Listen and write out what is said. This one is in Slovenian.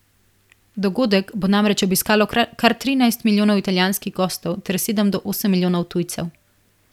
Dogodek bo namreč obiskalo kar trinajst milijonov italijanskih gostov ter sedem do osem milijonov tujcev.